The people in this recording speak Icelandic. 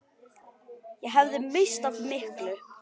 Ég hefði misst af miklu.